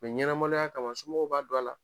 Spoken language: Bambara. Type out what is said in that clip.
ɲɛnamaloya kama somɔgɔw b'a don a la